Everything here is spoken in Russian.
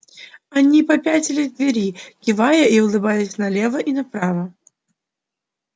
они попятились к двери кивая и улыбаясь налево и направо